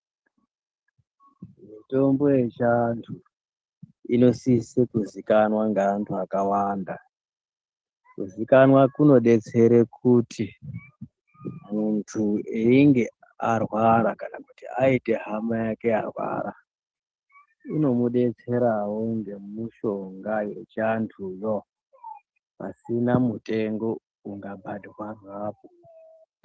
Mitombo yechivantu inosise kuvivikanwa nevantu vakawanda. Kuzivikanwa kunodetsera kuti muntu einge arwara kana kuti aite hama yake yarwara unomudetserawo ngemushonga yechianduwo pasina mutengo ukabatwe apo.